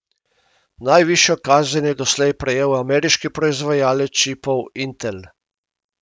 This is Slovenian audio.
Najvišjo kazen je doslej prejel ameriški proizvajalec čipov Intel.